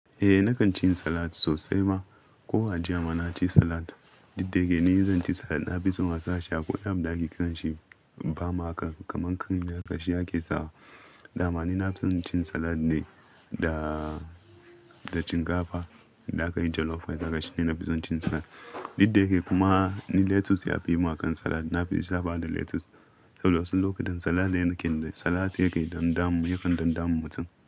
Eh, nakan cin salad sosai ma. Ko a jiya ma na ci salad. Didde ke, ni zan ci salad. Na fi son asashi akwai wani da aƙe kiranshi ba maka kaman ƙarin na ƙashi yake sawa. Da ma ni na fi son cin salad ne da, da shinkafa Da aka yi jollof ai haka shine na fi son cin salad. Didde ke kuma ni lettuce ya fimin aƙan salad. Na fi sabawa da lettuce. Saboda wasu lokutan salad yana ƙin shi. Salad yake dam damu, yakan dam damu mutum.